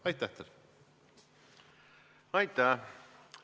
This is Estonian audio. Aitäh!